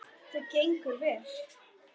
Það gengur vel.